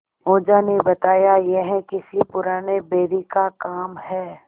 ओझा ने बताया यह किसी पुराने बैरी का काम है